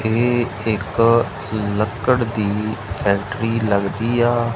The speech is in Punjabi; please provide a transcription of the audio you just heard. ਇਹ ਇੱਥੇ ਇਕ ਲੱਕੜ ਦੀ ਫੈਕਟਰੀ ਲੱਗਦੀ ਆ।